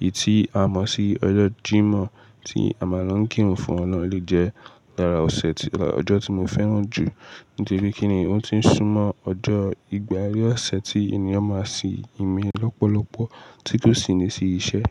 Èyí tí a mọ̀ sí ọjọ́ Jímọ̀, tí a máa ń lo kírun fún ọ̀nà le jẹ́ yàrá ọ̀sẹ̀. Ọjọ́ tí mo fẹ́ràn jù nítorí kí ni o ti ń súnmọ́ ọjọ́ ìpaari ọ̀sẹ̀ tí ènìyàn máa sì nmí lọ́pọ̀lọpọ̀ tí kò sì ní sí iṣẹ́.